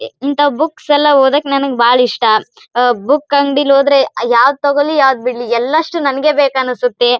ಇಂತ ಬುಕ್ಸ್ ಎಲ್ಲ ಓದೋಕೆ ನನಗೆ ಭಾಳ ಇಷ್ಟ. ಬುಕ್ ಅಂಗಡಿಗೆ ಹೋದ್ರೆ ಯಾವುದು ತಗೊಳ್ಲಿ ಯಾವುದು ಬಿಡ್ಲಿ ಎಲ್ಲಷ್ಟು ನನಗೆ ಬೇಕು ಅನ್ಸುತ್ತೆ.